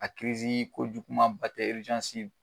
A kirizi ko juguman ba tɛ